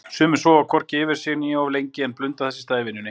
Sumir sofa hvorki yfir sig né of lengi en blunda þess í stað í vinnunni.